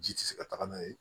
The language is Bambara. Ji tɛ se ka taga n'a ye